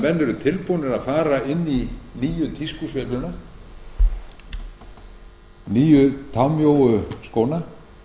eru tilbúnir að fara inn í nýju tískusveifluna nýju támjóu skóna